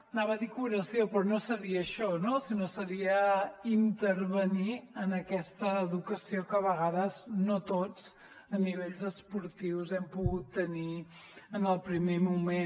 anava a dir curació però no seria això no sinó seria intervenir en aquesta educació que a vegades no tots a nivell esportiu hem pogut tenir en el primer moment